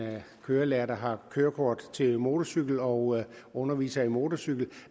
kørelærer der har kørekort til motorcykel og underviser i motorcykel